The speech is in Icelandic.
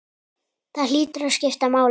Það hlýtur að skipta máli?